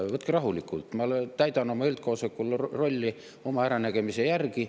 Võtke rahulikult, ma täidan oma üldkoosoleku rolli oma äranägemise järgi.